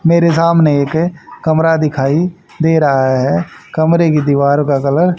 मेरे सामने एक कमरा दिखाई दे रहा है कमरे की दीवार का कलर --